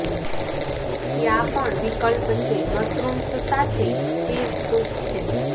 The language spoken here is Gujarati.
ત્યાં પણ વિકલ્પ છે મશરૂમ્સ સાથે ચીઝ સૂપ છે